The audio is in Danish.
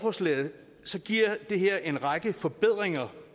som giver det her en række forbedringer